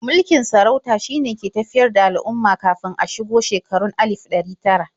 Mulkin sarauta shine ke tafiyar da al'umma kafin a shigo shekarun alif ɗari tara.